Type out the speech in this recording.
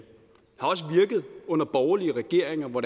under borgerlige regeringer hvor